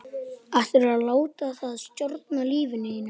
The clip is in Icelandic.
Ætlarðu að láta það stjórna lífinu?